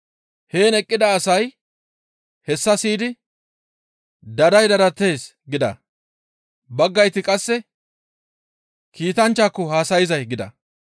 Heen eqqida asay hessa siyidi, «Daday dadatees» gida. Baggayti qasse, «Kiitanchchako haasayzay» gida.